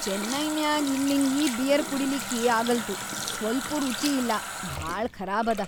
ಚೆನ್ನೈನ್ಯಾಗ್ ಇಲ್ಲಿನ್‌ ಈ ಬಿಯರ್ ಕುಡಿಲಿಕ್ಕೇ ಆಗಲ್ತು ಸ್ವಲ್ಪೂ ರುಚಿ ಇಲ್ಲಾ ಭಾಳ ಖರಾಬದ.